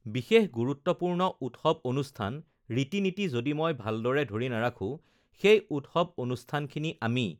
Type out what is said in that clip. বিশেষ গুৰুত্বপূৰ্ণ উৎসৱ-অনুষ্ঠান, ৰীতি-নীতি যদি মই ভালদৰে ধৰি নাৰাখোঁ সেই উৎসৱ অনুষ্ঠানখিনি আমি